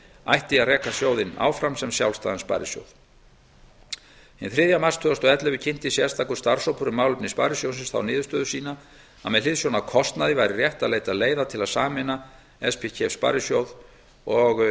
ætti að reka sjóðinn áfram sem sjálfstæðan sparisjóð hinn þriðja mars tvö þúsund og ellefu kynnti sérstakur starfshópur um málefni sparisjóðsins þá niðurstöðu sína að með hliðsjón af kostnaði væri rétt að leita leiða til að sameina spkef sparisjóð og